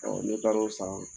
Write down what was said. Ne taar'o san